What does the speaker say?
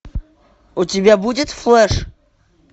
у тебя будет флэш